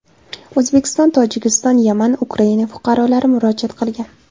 O‘zbekiston, Tojikiston, Yaman, Ukraina fuqarolari murojaat qilgan.